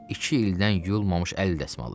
İki ildən yuyulmamış əl dəsmalı.